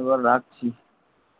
এবার রাখছি